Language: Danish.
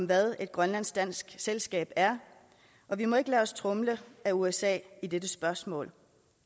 hvad et grønlandsk dansk selskab er og vi må ikke lade os tromle af usa i dette spørgsmål